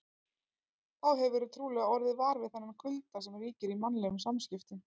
Þá hefurðu trúlega orðið var við þennan kulda sem ríkir í mannlegum samskiptum.